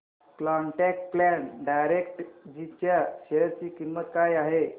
quant tax plan direct G च्या share ची किंमत काय आहे